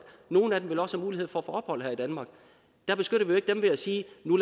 nogle af dem vil også have mulighed for at få ophold her i danmark der beskytter vi jo ved at sige